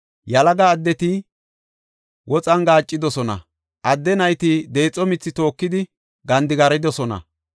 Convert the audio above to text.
Yalaga addeti woxan gaaccidosona; adde nayti deexo mithi tookidi gandigaridosona.